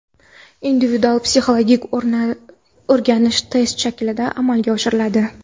Individual-psixologik o‘rganish test shaklida amalga oshiriladi.